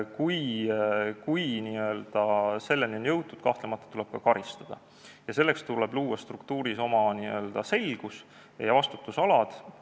Kui selleni on jõutud, siis kahtlemata tuleb ka karistada ja selleks tuleb luua struktuuris selgus ja vastutusalad.